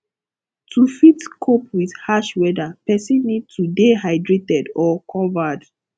to fit cope with harsh weather person need to dey hydrated or covered